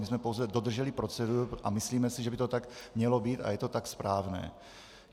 My jsme pouze dodrželi proceduru a myslíme si, že by to tak mělo být a je to tak správné.